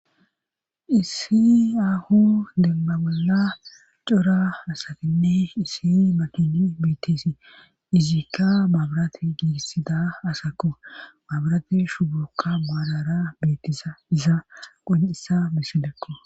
issi aaho demba bolla cora asatinne issi makini biittisi izikka mabrate giiissida asakko mabrate shubukka maalara biittisa iza qon7isa misilekko.